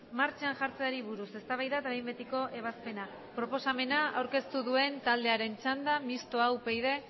martxan jartzeari buruz eztabaida eta behin betiko ebazpena proposamena aurkeztu duen taldearen txanda mistoa upyd